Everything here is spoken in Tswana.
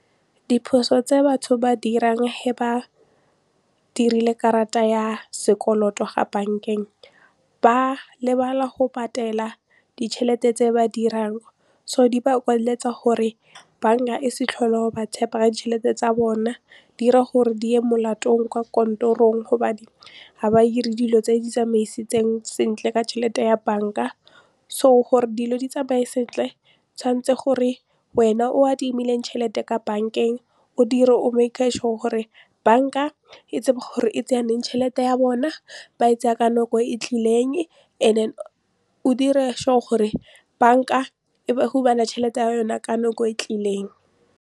Diphoso tse batho ba di 'irang he ba dirile karata ya sekoloto ga bank-eng, ba lebala go patela ditšhelete tse ba dirang so di ba kwaleletsa gore bank-a e se tlhole e ba tshepa ditšhelete tsa bona di 'ira gore di ye molatong kwa kantorong gobane ha ba dire dilo tse di tsamaisetseng sentle ka tšhelete ya bank-a so gore dilo di tsamaye sentle tshwanetse gore wena o adimileng tšhelete ka bank-eng o dire o sure gore bank-a e tsebe gore e tseya leng tšhelete ya bona ba e tsaya ka nako e tlileng and then o dire sure gore bank-a e tšhelete ya yona ka nako e tlileng.